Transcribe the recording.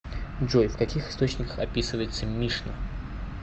джой в каких источниках описывается мишна